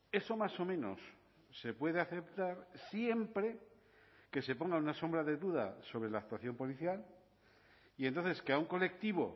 eso más o menos se puede aceptar siempre que se ponga una sombra de duda sobre la actuación policial y entonces que a un colectivo